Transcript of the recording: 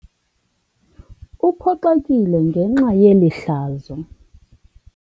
Uphoxekile ngenxa yeli hlazo.